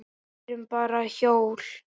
Við erum bara hjól.